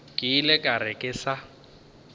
ile ka re ke sa